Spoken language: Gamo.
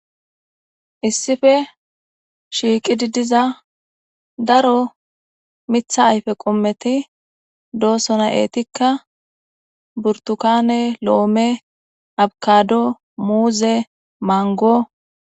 Issife shiiqi didiza daro mitha ayfe qommeti doosona eetikka burtukane lo'ome abkado muuze mango.